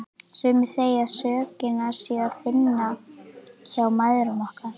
Sumir segja að sökina sé að finna hjá mæðrum okkar.